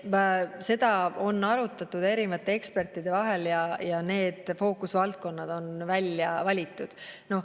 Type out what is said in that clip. Seda on arutanud erinevad eksperdid ja need fookusvaldkonnad on välja valitud.